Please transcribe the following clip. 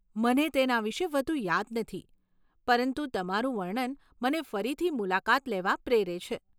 મને તેના વિશે વધુ યાદ નથી, પરંતુ તમારું વર્ણન મને ફરીથી મુલાકાત લેવા પ્રેરે છે.